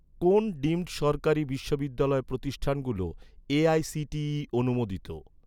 কোন ডিমড সরকারি বিশ্ববিদ্যালয় প্রতিষ্ঠানগুলো এ.আই.সি.টি.ই অনুমোদিত?